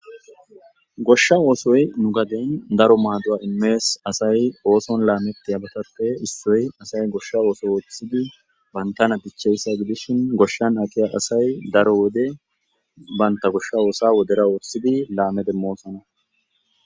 Goshsha oosoy nu gadiyan daro maaduwa immes. Asay oison laamettiyabattappe issoy goshsha ooththo ooththidi bantana dichchiyayssa gidishin goshshan aqiya asay daro wode banta goshsha oosa wodera wurssidi laame demmosona.